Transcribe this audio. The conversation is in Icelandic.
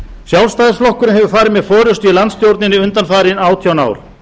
sjálfstæðisflokkurinn hefur farið með forustu í landsstjórninni undanfarin átján ár